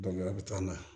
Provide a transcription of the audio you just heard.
a bɛ taa n'a ye